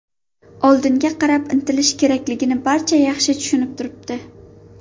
Oldinga qarab intilish kerakligini barcha yaxshi tushunib turibdi.